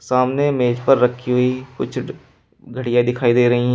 सामने मेज पर रखी हुई कुछ घड़ियां दिखाई दे रही हैं।